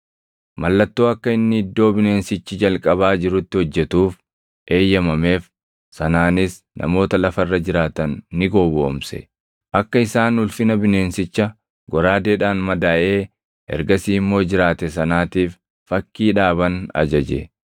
Mallattoo akka inni iddoo bineensichi jalqabaa jirutti hojjetuuf eeyyamameef sanaanis namoota lafa irra jiraatan ni gowwoomse. Akka isaan ulfina bineensicha goraadeedhaan madaaʼee ergasii immoo jiraate sanaatiif fakkii dhaaban ajaje.